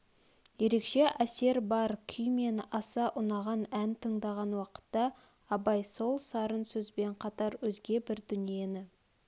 ерекше әсер бар күй менен аса ұнаған ән тыңдаған уақытта абай сол сарын сөзбен қатар өзге бір дүниені